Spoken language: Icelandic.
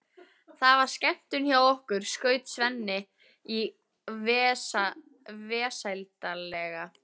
Það var skemmtun hjá okkur, skaut Svenni inn í vesældarlega.